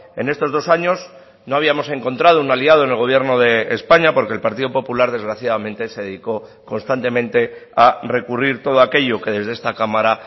en estos dos años no habíamos encontrado un aliado en el gobierno de españa porque el partido popular desgraciadamente se dedicó constantemente a recurrir todo aquello que desde esta cámara